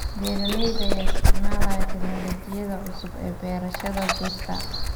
Beeralayda ayaa isticmaalaya tignoolajiyada cusub ee beerashada dhirta.